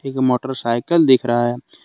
एक मोटरसाइकिल दिख रहा है।